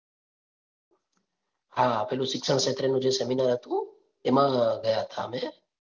હા પેલું શિક્ષ ક્ષેત્રનું જે seminar હતું એમાં ગયા હતા અમે. .